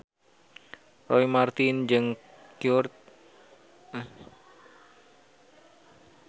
Roy Marten jeung Kurt Cobain keur dipoto ku wartawan